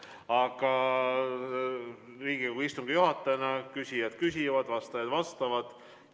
Aga Riigikogu istungi juhatajana selgitan: küsijad küsivad, vastajad vastavad.